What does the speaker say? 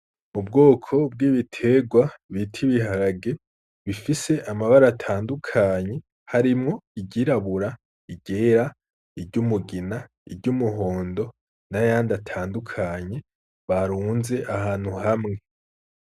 Mu bwoko bw'ibiterwa bitiibiharage bifise amabara atandukanyi harimwo igirabura igera iryo umugina iryo umuhondo n'ayandi atandukanye barunze ahantu hamwe.